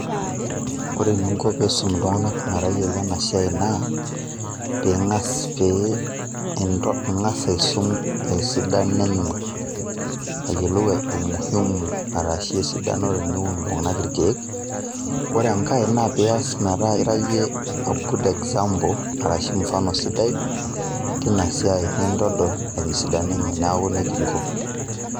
ore eninko pee iisum iltungana metayiolo ena siai naa, pe ingas pee ingas aisum esidano enye ayiolou umuhimu arashu esidano teneun iltungana irkeek. ore enkae, peeku ira iyie a good example arashu mfano sidai tina siai nintol esidano enye, neeku nejia inko.